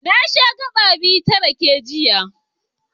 Na sha gaɓa biyu ta rake, jiya.